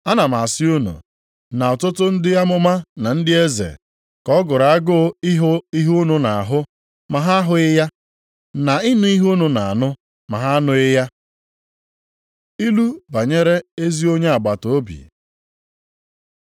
Ana m asị unu, na ọtụtụ ndị amụma na ndị eze ka ọ gụrụ agụụ ịhụ ihe unu na-ahụ ma ha ahụghị ya, na ịnụ ihe unu na-anụ, ma ha anụghị ya.” Ilu banyere ezi onye agbataobi